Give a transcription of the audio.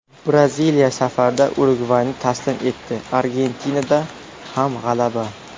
Braziliya safarda Urugvayni taslim etdi, Argentinada ham g‘alaba.